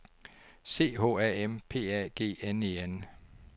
C H A M P A G N E N